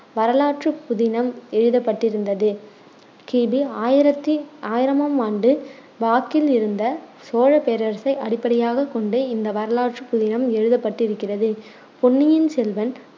வரலாற்றுப் புதினம் எழுதப்பட்டிருந்தது. கி பி ஆயிரத்தி ஆயிரமாம் ஆண்டு வாக்கில் இருந்த சோழப் பேரரசை அடிப்படையாகக் கொண்டு இந்த வரலாற்றுப் புதினம் எழுதப்பட்டிருக்கிறது பொன்னியின் செல்வன்,